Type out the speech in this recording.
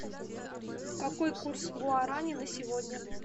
какой курс гуарани на сегодня